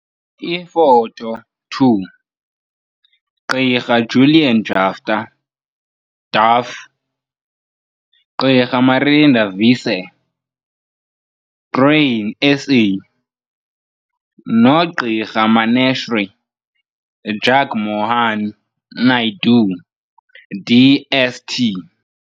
Ifoto 2 - Gq Julian Jaftha, DAFF, Gq Marinda Visser, Grain SA, noGq Maneshree Jugmohan-Naidu, DST.